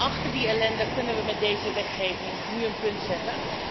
Achter die ellende kunnen we met deze wetgeving nu een punt zetten.